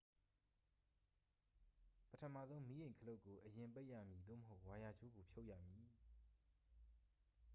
ပထမဆုံး မီးအိမ် ခလုတ်ကို အရင်ပိတ်ရမည် သို့မဟုတ် ဝါယာကြိုးကို ဖြုတ်ရမည်